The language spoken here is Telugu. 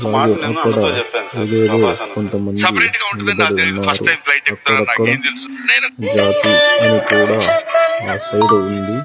అక్కడ అదేదో కొంత నిలబడి ఉన్నారు అక్కడక్కడ జాతి అని కూడా ఆ సైడు ఉంది.